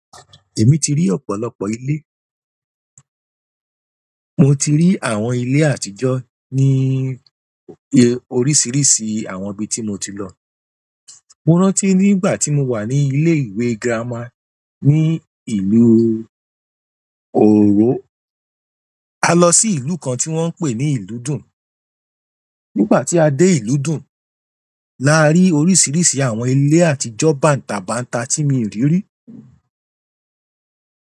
Èmi ti rí ọ̀pọ̀lọpọ̀ ilé. Mo ti rí àwọn ilé àtijọ́ ní oríṣiríṣi àwọn ibi tí mo ti lọ. Mo rántí nígbà tí mo wà ní ilé ìwé girama ní ìlú Oòró, a lọ sí ìlú kan tí wọ́n ń pè ní ìlú dùn. Nígbà ti a de ìlú dùn, la ri oríṣiríṣi àwọn ile àtijọ́ banta-banta ti mii ri ri.